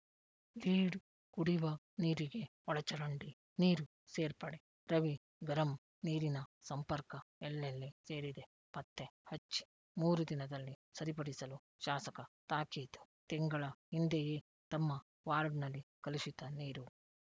lead ಕುಡಿವ ನೀರಿಗೆ ಒಳಚರಂಡಿ ನೀರು ಸೇರ್ಪಡೆ ರವಿ ಗರಂ ನೀರಿನ ಸಂಪರ್ಕ ಎಲ್ಲೆಲ್ಲಿ ಸೇರಿದೆ ಪತ್ತೆ ಹಚ್ಚಿ ಮೂರು ದಿನದಲ್ಲಿ ಸರಿಪಡಿಸಲು ಶಾಸಕ ತಾಕೀತು ತಿಂಗಳ ಹಿಂದೆಯೇ ತಮ್ಮ ವಾರ್ಡ್ ನಲ್ಲಿ ಕಲುಷಿತ ನೀರು